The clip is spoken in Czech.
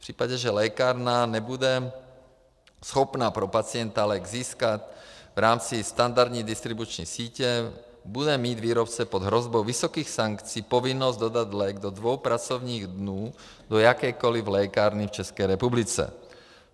V případě, že lékárna nebude schopna pro pacienta lék získat v rámci standardní distribuční sítě, bude mít výrobce pod hrozbou vysokých sankcí povinnost dodat lék do dvou pracovních dnů do jakékoliv lékárny v České republice.